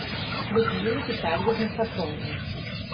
людмила витальевна сафронова